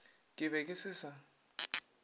ke be ke se sa